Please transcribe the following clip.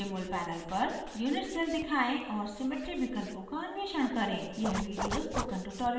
jmol panel पर unit cell दिखाएँ और symmetry विकल्पों का अन्वेषण करें